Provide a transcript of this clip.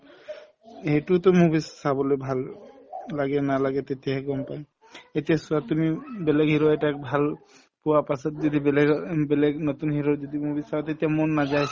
সেইটোতো movies চাবলৈ ভাল লাগে নালাগে তেতিয়াহে গম পাম এতিয়া চোৱা তুমি উম বেলেগ hero এটাক ভাল পোৱা পাছত যদি বেলেগক অ বেলেগ নতুন hero ৰ যদি movies চাওঁ তেতিয়া মন নাযায়